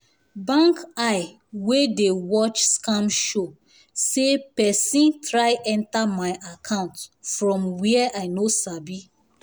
bank eye wey the watch scam show say person try enter my account from where i no sabi